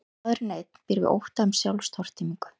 Maðurinn einn býr við ótta um sjálfstortímingu.